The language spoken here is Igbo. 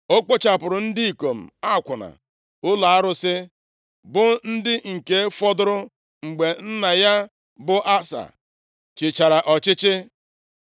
O kpochapụrụ ndị ikom akwụna ụlọ arụsị, bụ ndị nke fọdụrụ, mgbe nna ya bụ Asa chịchara ọchịchị.